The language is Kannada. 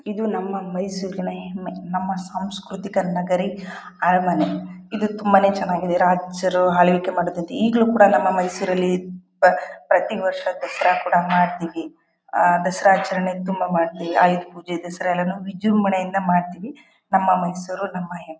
ಇದು ನಮ್ಮ ಮೈಸೂರಿನ ಹೆಮ್ಮೆ ನಮ್ಮ ಸಾಂಸ್ಕೃತಿಕ ನಗರಿ ಅರಮನೆ ಇದು ತುಂಬಾನೇ ಚೆನ್ನಾಗಿದೆ ರಾಜರು ಆಳ್ವಿಕೆ ಮಾಡುತ್ತಿದ್ದು ಈಗಲೂ ಕೂಡ ನಮ್ಮ ಮೈಸೂರಲ್ಲಿ ಪ ಪ್ರತಿ ವರ್ಷ ದಸರಾ ಕೂಡ ಮಾಡ್ತೀವಿ ಆ ದಸರಾ ಆಚರಣೆ ತುಂಬಾ ಮಾಡ್ತೀವಿ ಆಯುಧ ಪೂಜೆ ದಸರಾ ಎಲ್ಲಾನು ವಿಜೃಂಭಣೆಯಿಂದ ಮಾಡ್ತೀವಿ ನಮ್ಮ ಮೈಸೂರು ನಮ್ಮ ಹೆಮ್ಮೆ.